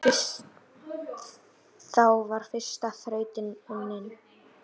Þá var fyrsta þrautin unnin.